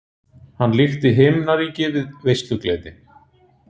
Hann líkti líka himnaríki við veislugleði.